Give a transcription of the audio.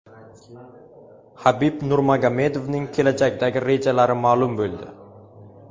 Habib Nurmagomedovning kelajakdagi rejalari ma’lum bo‘ldi.